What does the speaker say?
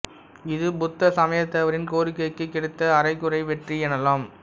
இது புத்த சமயத்தவரின் கோரிக்கைக்குக் கிடைத்த அரைகுறை வெற்றி எனலாம்